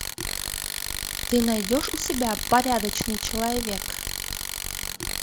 ты найдешь у себя порядочный человек